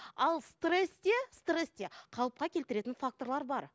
ал стрессте стрессте қалыпқа келтіретін факторлар бар